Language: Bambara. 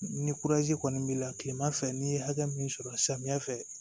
Ni kɔni b'i la kilema fɛ ni ye hakɛ min sɔrɔ samiya fɛ